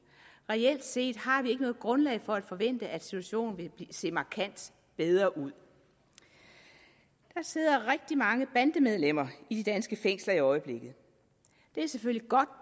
reelt set har vi ikke noget grundlag for at forvente at situationen vil se markant bedre ud der sidder rigtig mange bandemedlemmer i de danske fængsler i øjeblikket det er selvfølgelig godt at